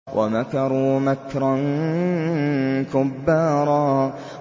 وَمَكَرُوا مَكْرًا كُبَّارًا